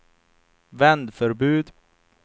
vändförbud